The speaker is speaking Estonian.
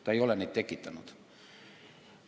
Ta ei ole neid tekitanud.